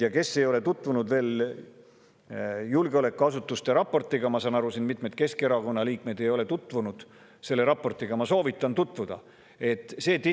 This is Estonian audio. Neil, kes ei ole veel tutvunud selle julgeolekuasutuste raportiga – ma saan aru, et mitmed Keskerakonna liikmed ei ole selle raportiga tutvunud –, soovitan ma sellega tutvuda.